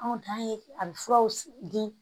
Anw dan ye a bɛ furaw di